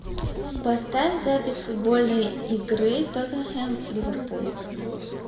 поставь запись футбольной игры тоттенхэм ливерпуль